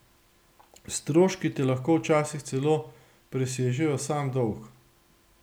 Stroški te lahko včasih celo presežejo sam dolg.